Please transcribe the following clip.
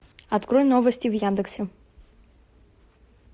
открой новости в яндексе